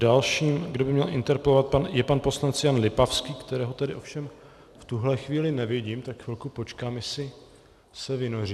Dalším, kdo by měl interpelovat, je pan poslanec Jan Lipavský, kterého tady ovšem v tuhle chvíli nevidím, tak chvilku počkám, jestli se vynoří.